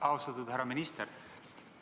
Austatud härra minister!